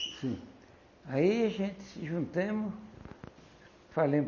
Sim, aí a gente se juntamos falamos